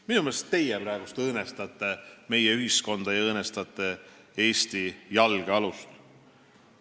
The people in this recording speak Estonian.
Minu meelest õõnestate teie praegu meie ühiskonda ja õõnestate Eesti jalgealust.